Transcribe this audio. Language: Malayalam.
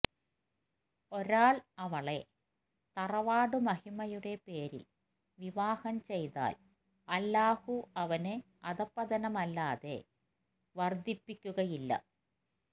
ഒരാള് അവളെ തറവാട് മഹിമയുടെ പേരില് വിവാഹം ചെയ്താല് അല്ലാഹു അവന് അധഃപതനമല്ലാതെ വര്ധിപ്പിക്കുകയില്ല